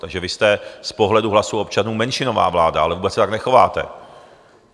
Takže vy jste z pohledu hlasů občanů menšinová vláda, ale vůbec se tak nechováte.